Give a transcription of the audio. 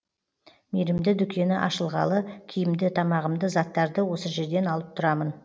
мейірімді дүкені ашылғалы киімді тамағымды заттарды осы жерден алып тұрамын